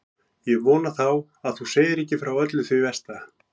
Ég vona þá að þú segir ekki frá öllu því versta.